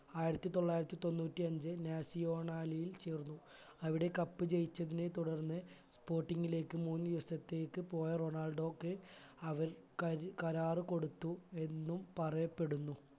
ആയിരത്തി തൊള്ളായിരത്തി തൊണ്ണൂറ്റി അഞ്ച്‌ നാസിയോണലിൽ ചേർന്നു അവിടെ cup ജയിച്ചതിനെ തുടർന്ന് sporting ലേക് മൂന്ന് ദിവസത്തേക്ക് പോയ റൊണാൾഡോക്ക് അവർ കര കരാർ കൊടുത്തു എന്നും പറയപ്പെടുന്നു